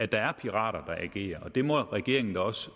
der er pirater der agerer det uvæsen må regeringen da også